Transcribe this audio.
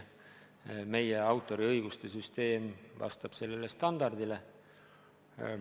Meie autoriõiguste süsteem vastab sellele standardile.